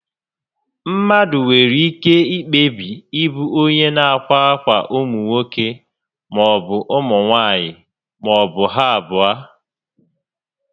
Mmadụ nwere ike kpebie ịbụ onyé nà akwa ákwà ụmụ nwoke maọbụ ụmụ nwaanyị maọbụ ha abụọ